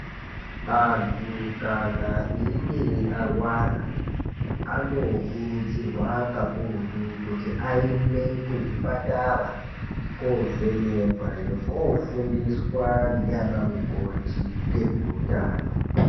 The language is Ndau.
Anthu kana einge arwara anokurudzirwa kakurutu kuti aende kuzvipatara kovhenekwa nekofundiswa ndiana mukoti ngezveutano.